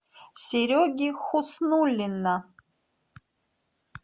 сереги хуснуллина